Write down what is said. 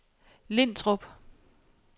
Lintrup